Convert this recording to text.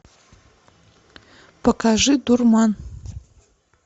покажи дурман